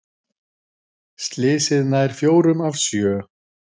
Slysið nær fjórum af sjö